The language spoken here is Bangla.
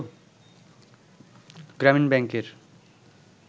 গ্রামীণ ব্যাংকের